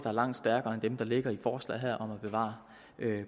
er langt stærkere end dem der ligger i forslaget her om at bevare